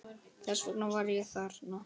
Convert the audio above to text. Þess vegna var ég þarna.